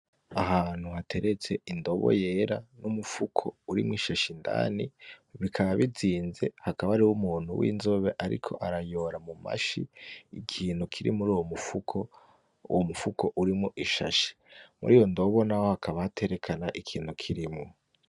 Ahantu hateretse indobo yera n'umupfuko urimwo ishashi indani bikaba bizinze hakaba ariho umuntu w'inzobe, ariko arayora mu mashi ikintu kiri muri uwo mufuko uwo mufuko urimwo ishashi muri yo ndobo hakaba haterekana ikintu kirimwo.